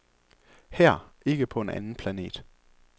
Her, ikke på en anden planet.